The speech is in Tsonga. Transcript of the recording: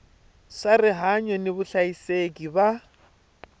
swa rihanyu ni vuhlayiseki va